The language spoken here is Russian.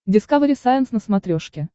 дискавери сайенс на смотрешке